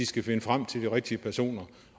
skal finde frem til de rigtige personer